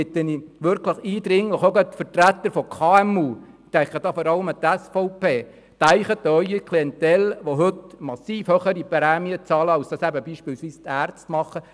Deshalb bitte ich eindringlich, gerade auch Vertretungen von KMU – ich denke dabei insbesondere an die SVP: Denken Sie an das Klientel, welches heute massiv höhere Prämien zahlt, als dies beispielsweise die Ärzte tun.